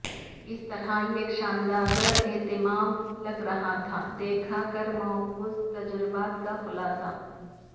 اس طرح ایک شاندار اختتام لگ رہا تھا دیکھ کر معکوس تجربات کا خلاصہ